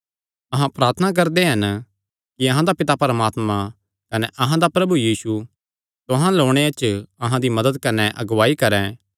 अहां प्रार्थना करदे हन कि अहां दा पिता परमात्मा कने अहां दा प्रभु यीशु तुहां अल्ल ओणे च अहां दी मदत कने अगुआई करैं